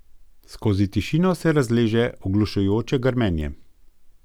Skozi tišino se razleže oglušujoče grmenje.